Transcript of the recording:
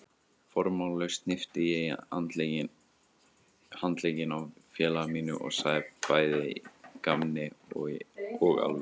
Formálalaust hnippti ég í handlegginn á félaga mínum og sagði bæði í gamni og alvöru